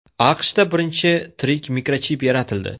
AQShda birinchi tirik mikrochip yaratildi.